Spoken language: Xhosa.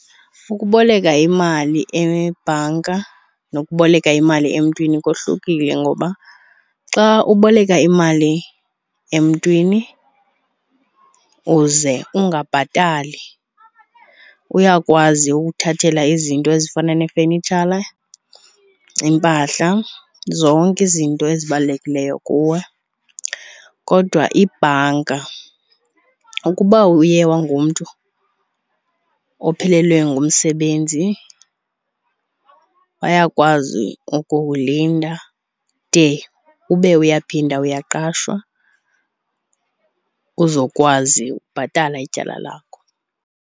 Ukuboleka imali ebhanka nokuboleka imali emntwini kohlukile ngoba xa uboleka imali emntwini uze ungabhatali, uyakwazi ukukuthathela izinto ezifana neefenitshala, iimpahla, zonke izinto ezibalulekileyo kuwe. Kodwa ibhanka ukuba uye ungumntu ophelelwe ngumsebenzi bayakwazi ukukulinda de ube uyaphinda uyaqashwa, uzokwazi ukubhatala ityala lakho.